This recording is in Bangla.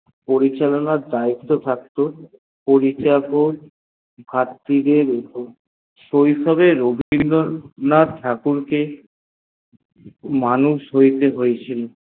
পরিচালনার দয়ত্ত থাকতো পরিচারক ভাতড়ি দের উপর শৈশবে রবীন্দ্র নাথ ঠাকুর কে মানুষ হইতে হয়েছিল